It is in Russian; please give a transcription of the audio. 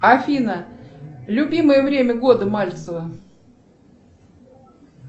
афина любимое время года мальцева